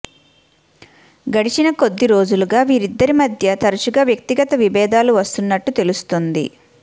గడిచిన కొద్దీ రోజులుగా వీరిద్దరిమధ్య తరచుగా వ్యక్తిగత విభేదాలు వస్తున్నట్టు తెలుస్తుంది